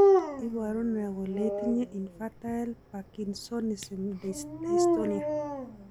iporu ne kole itinye Infantile Parkinsonism dystonia?